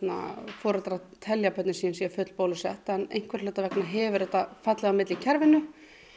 fólk telur að börnin sín séu full bólusett en einhverra hluta vegna hefur þetta fallið á milli í kerfinu